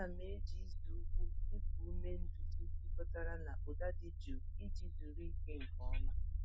Ana m eji ịzụ ụkwụ iku ume nduzi jikọtara na ụda dị jụụ iji zuru ike nke ọma.